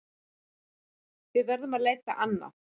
Við verðum að leita annað.